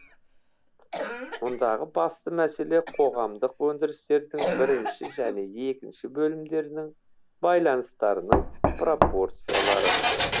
мұндағы басты мәселе қоғамдық өндірістердің бірінші және екінші бөлімдерінің байланыстарының пропорциялары